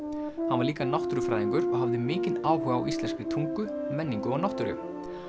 hann var líka náttúrufræðingur og hafði mikinn áhuga á íslenskri tungu menningu og náttúru